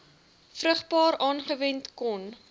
vrugbaar aangewend kon